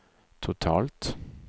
totalt